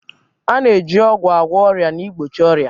A na-eji ọgwụ agwọ ọrịa na igbochi ọrịa.